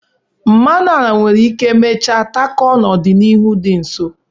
Mmanụ ala nwere ike mechaa takọọ n'ọdịnihu dị nso.